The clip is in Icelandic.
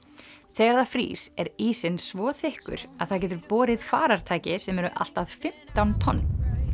þegar það frýs er ísinn svo þykkur að það getur borið farartæki sem eru allt að fimmtán tonn